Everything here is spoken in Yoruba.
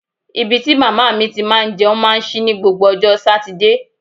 Ibi tí màmá mi ti máa ń jẹun máa ń ṣí ní gbogbo ọjọ́ Sátidé